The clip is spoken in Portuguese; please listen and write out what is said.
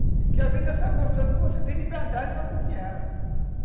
Porque a vida é só gostosa quando você tem liberdade para curtir ela.